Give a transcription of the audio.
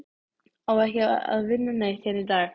Á ekki að vinna neitt hérna í dag?